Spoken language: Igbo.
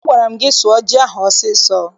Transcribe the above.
Agwara m gị sụọ ji ahụ ọsọ ọsọ!